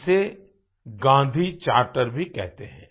इसे Gandhi charter Gandhi charter भी कहते हैं